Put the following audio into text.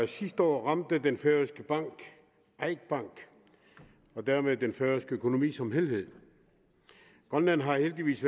sidste år ramte den færøske bank eik bank og dermed den færøske økonomi som helhed grønland har heldigvis